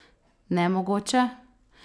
Nemogoče?